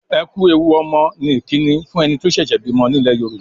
"Ẹ ku ewu ọmọ" ni ìkíni fún ẹni tó ṣẹ̀ṣẹ̀ bímọ nílẹ̀ Yorùbá.